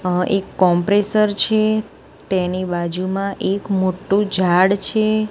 આ એક કોમ્પ્રેસર છે તેની બાજુમાં એક મોટું ઝાડ છે.